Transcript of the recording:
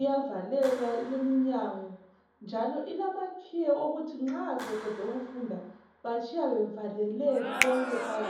iyavaleka imnyango njalo ilamakhiye okuthi nxa sebede ukufunda batshiya bevalele konke phakathi